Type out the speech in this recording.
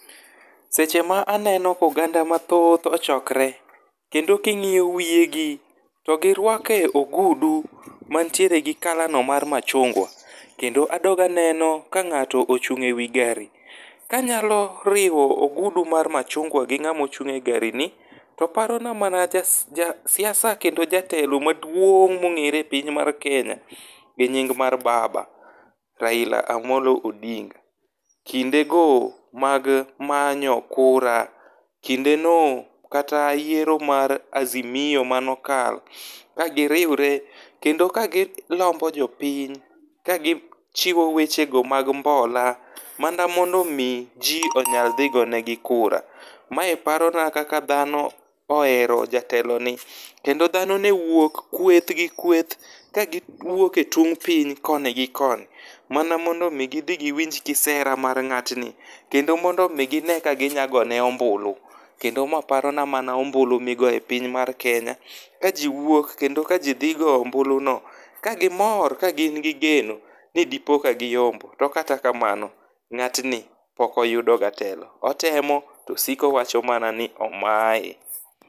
Seche ma aneno ka oganda mathoth ochokre. Kendo kiing'iyo wie gi, to giruake ogudu mantiere gi kalano mar machungwa. Kendo adog aneno ka ng'ato ochung' e wi gari. Kanyalo riwo ogudu mar machungwa gi ng'ama ochung' e gari ni, to parona mana jasiasa kendo jatelo maduong' mong'ere piny mar Kenya gi nying mar baba, Raila Amolo Odinga. Kinde go mag manyo kura. Kinde no kata yiero mar azimio manokalo ka giriure kendo ka gilombo jopiny ka gichiwo wechego mag mbola mana mondo mi ji onyal dhi gone gi kura. Mae parona kaka dhano ohero jateloni, kendo dhano newuok kueth gi kueth ka giwuoke e tung' piny koni gi koni. Mana mondo mi gi dhi giwinj kisera mar ng'atni. Kendo mondo mi gine ka ginya gone ombulu. Kendo ma parona mana ombulu migo e piny mar Kenya, ka ji wuok kendo ka ji dhi goyo ombulu no ka gimor ka gingi geno ni dipo ka giyombo. To kata kamano ng'atni pokoyudo ga telo. Otemo to osikowacho mana ni omae.